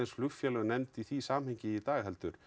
flugfélög nefnd í því samhengi í dag heldur